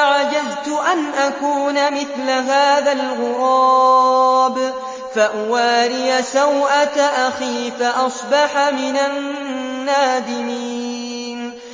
أَعَجَزْتُ أَنْ أَكُونَ مِثْلَ هَٰذَا الْغُرَابِ فَأُوَارِيَ سَوْءَةَ أَخِي ۖ فَأَصْبَحَ مِنَ النَّادِمِينَ